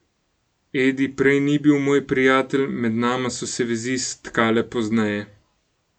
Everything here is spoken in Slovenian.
Edi prej ni bil moj prijatelj, med nama so se vezi stkale pozneje.